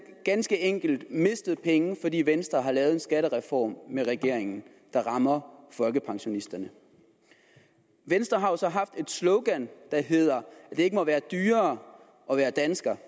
ganske enkelt mistet penge fordi venstre har lavet en skattereform med regeringen der rammer folkepensionisterne venstre har jo så haft et slogan der hedder at det ikke må være dyrere at være dansker